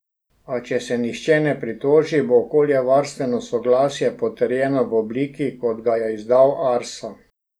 A, če se nihče ne pritoži, bo okoljevarstveno soglasje potrjeno v obliki, kot ga je izdal Arso.